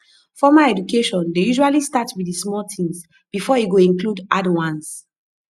formal education dey usually start with di small things before e go include hard ones